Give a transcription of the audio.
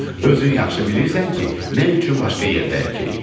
Özün yaxşı bilirsən ki, nə üçün başqa yerdə əkirik.